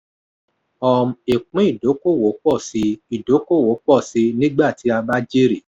um ìpín idókoòwò pọ̀ síi idókoòwò pọ̀ síi nígbà tí a bá jèrè.